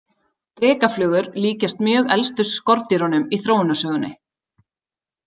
Drekaflugur líkjast mjög elstu skordýrunum í þróunarsögunni.